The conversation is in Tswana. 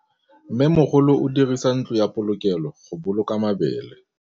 Mmêmogolô o dirisa ntlo ya polokêlô, go boloka mabele.